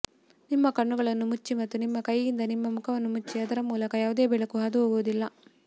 ನಿಮ್ಮ ಕಣ್ಣುಗಳನ್ನು ಮುಚ್ಚಿ ಮತ್ತು ನಿಮ್ಮ ಕೈಯಿಂದ ನಿಮ್ಮ ಮುಖವನ್ನು ಮುಚ್ಚಿ ಅದರ ಮೂಲಕ ಯಾವುದೇ ಬೆಳಕು ಹಾದುಹೋಗುವುದಿಲ್ಲ